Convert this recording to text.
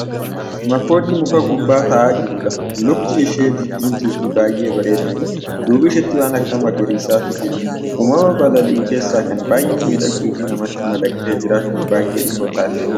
Makoodii muka gubbaa taa'aa jirudha. Lukti ishee diddiimtuu fi baay'ee bareeddudha. Duuba isheetti waan akka magariisaatu jira. Uumama balalii'u keessaa kan baay'ee miidhagduu fi namatti madaqxee jiraachuuf baay'ee dhihoo taatedha.